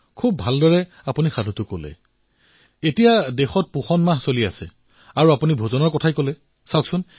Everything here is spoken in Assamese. অতিশয় সুন্দৰ শৈলীৰে আপোনালোকে এয়া বৰ্ণনা কৰিলে আৰু কাকতলীয়ভাৱে দেশত পোষণ মাহ উদযাপিত হৈ আছে আৰু আপোনালোকৰ সাধুত ভোজনৰ কথা উল্লেখ আছে